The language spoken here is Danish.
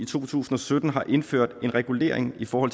to tusind og sytten har indført en regulering for